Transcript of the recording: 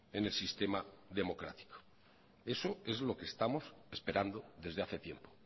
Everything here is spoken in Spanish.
en el sistema democrático eso es lo que estamos esperando desde hace tiempo